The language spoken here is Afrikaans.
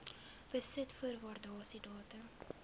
besit voor waardasiedatum